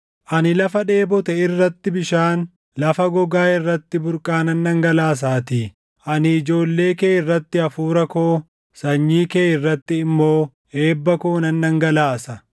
Ani lafa dheebote irratti bishaan, lafa gogaa irratti burqaa nan dhangalaasaatii; ani ijoollee kee irratti Hafuura koo, sanyii kee irratti immoo eebba koo nan dhangalaasa.